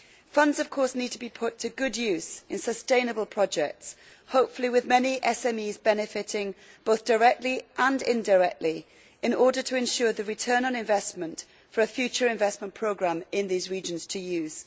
Funds, of course, need to be put to good use in sustainable projects, hopefully with many SMEs benefiting both directly and indirectly in order to ensure the return on investment for a future investment programme in these regions to use.